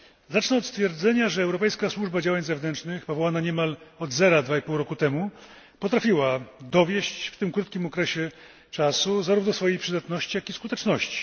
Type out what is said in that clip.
Zacznę od stwierdzenia, że Europejska Służba Działań Zewnętrznych, powołana niemal od zera 2,5 roku temu, potrafiła dowieść w tym krótkim okresie czasu zarówno swojej przydatności, jak i skuteczności.